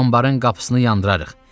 Anbarın qapısını yandırarıq.